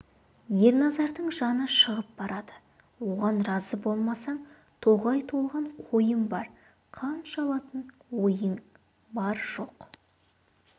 ерназардың жаны шығып барады оған разы болмасаң тоғай толған қойым бар қанша алатын ойың бар жоқ